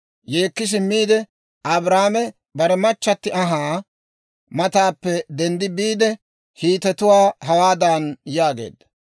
Yeekki simmiide, Abrahaame bare machchatti anhaa mataappe denddi biide, Hiitetuwaa hawaadan yaageedda;